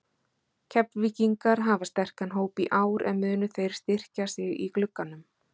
Keflvíkingar hafa sterkan hóp í ár en munu þeir styrkja sig í glugganum?